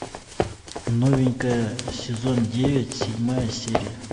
новенькая сезон девять седьмая серия